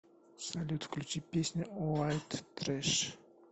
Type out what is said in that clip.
салют включи песню уайт трэш